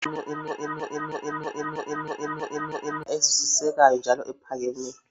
Eminye imithi elaphayo, ezwisisekayo njalo ephakemeyo.